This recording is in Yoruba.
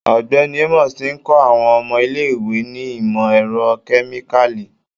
Ọgbẹni Amos ti n kọ awọn ọmọ ile-iwe ni imọ-ẹrọ kemikali